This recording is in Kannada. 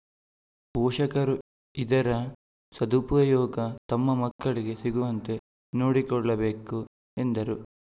ಪೋಷಕರು ಇದರ ಸದುಪಯೋಗ ತಮ್ಮ ಮಕ್ಕಳಿಗೆ ಸಿಗುವಂತೆ ನೋಡಿಕೊಳ್ಳಬೇಕು ಎಂದರು